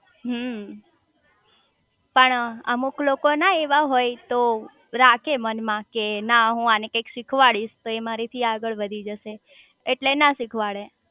હમ્મ પણ અમુક લોકો ના એવા હોય તો રાખે મન માં કે ના હું આને કંઈક શીખવાડીશ તો મારા થી આગળ વધી જશે એટલે ના શીખવાડે